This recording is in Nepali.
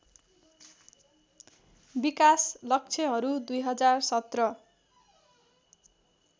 विकास लक्ष्यहरू २०१५